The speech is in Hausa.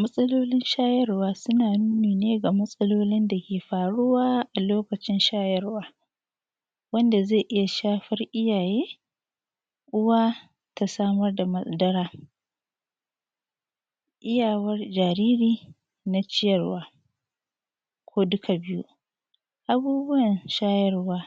Matsalolin shayarwa suna nuni ne ga matsalolin da ke faruwa a lokacin shayarwa, wanda zai iya shafar iyaye, Uwa ta samar da madara, iyawar jaariri na ciyarwa ko duka biyu, abubuwan shayarwa